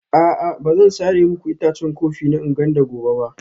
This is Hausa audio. A'a ba zan sare muku itacen kofi na Nganda gobe ba